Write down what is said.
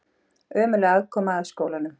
Ömurleg aðkoma að skólanum